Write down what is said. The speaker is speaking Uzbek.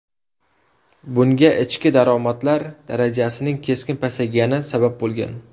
Bunga ichki daromadlar darajasining keskin pasaygani sabab bo‘lgan.